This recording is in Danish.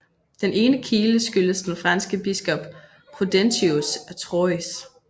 Den ene kile skyldes den franske biskop Prudentius af Troyes